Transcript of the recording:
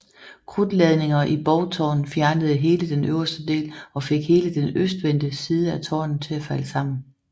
Krudtladninger i borgtårnet fjernede hele den øverste del og fik hele den østvendte side af tårnet til at falde sammen